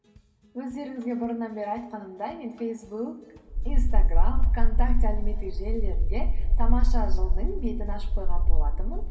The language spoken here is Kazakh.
өздеріңізге бұрыннан бері айтқанымдай мен фейсбук инстаграм вконтакте әлеуметтік желілерінде тамаша жыл дың бетін ашып қойған болатынмын